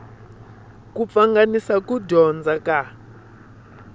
ku pfanganisa ku dyondza ka